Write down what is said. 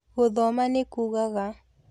Gũthoma nĩ kuugaga